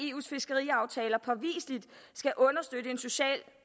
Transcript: eus fiskeriaftaler påviseligt skal understøtte en social